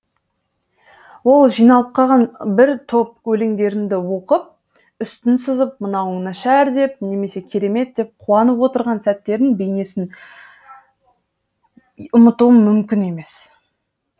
ол жиналып қалған бір топ өлеңдерімді оқып үстін сызып мынауың нашар деп немесе керемет деп қуанып отырған сәттерін бейнесін ұмытуым мүмкін емес